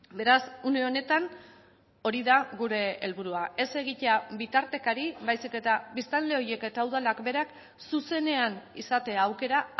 beraz une honetan hori da gure helburua ez egitea bitartekari baizik eta biztanle horiek eta udalak berak zuzenean izatea aukera